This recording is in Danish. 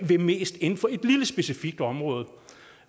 vil mest inden for et lille specifikt område